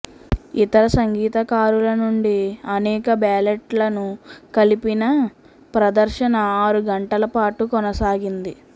ఇతర సంగీతకారుల నుండి అనేక బ్యాలెట్లను కలిపిన ప్రదర్శన ఆరు గంటల పాటు కొనసాగింది